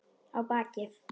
Á bakið.